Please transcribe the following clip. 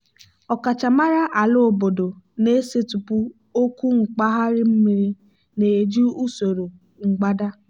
ọkachamara ala obodo na-esetịpụ okwu mkpagharị mmiri na-eji usoro mgbada.